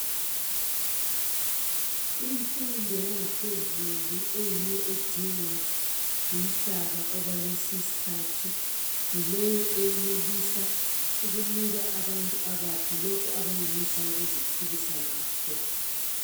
Imfundo yangaphezulu eyiyo edingwa ngumhlaba okwalesi isikhathi yileyo enelisa ukunika abantu abatsha lokho abenelisa ukuziphilisa ngakho.